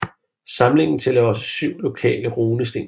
Samlingen tæller også syv lokale runesten